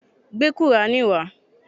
Gbé qùrání wá.